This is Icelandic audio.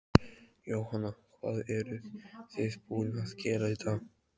Jóhanna: Hvað eruð þið búin að gera í dag?